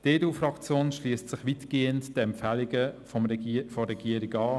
Die EDU-Fraktion schliesst sich weitgehend den Empfehlungen der Regierung an.